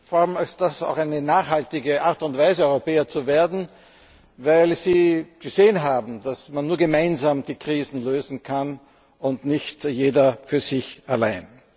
Dies ist vor allem auch eine nachhaltige Art und Weise, Europäer zu werden, weil Sie gesehen haben, dass man nur gemeinsam die Krisen lösen kann und nicht jeder für sich allein.